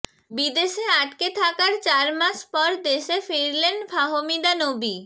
বিদেশে আটকে থাকার চারমাস পর দেশে ফিরলেন ফাহমিদা নবী